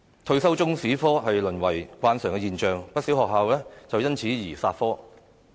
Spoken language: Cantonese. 退修中史科淪為慣常現象，不少學校亦因此而"殺科"。